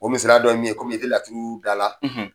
O misaliya dɔ ye min ye kɔmi i tɛ laturu da la.